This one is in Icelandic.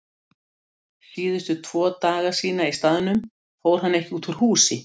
Síðustu tvo daga sína í staðnum fór hann ekki úr húsi.